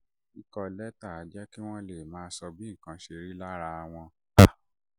kíkọ lẹ́tà máa ń jẹ́ kí wọ́n lè sọ bí nǹkan ṣe rí lára wọn